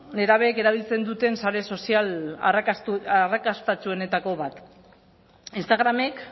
nerabeek erabiltzen duten sare sozial arrakastatsuenetako bat instagramek